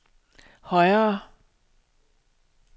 højere